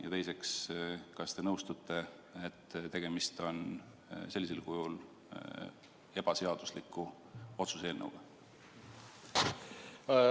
Ja teiseks: kas te nõustute, et sellisel kujul esitatud eelnõu näol on tegu ebaseadusliku otsuse eelnõuga?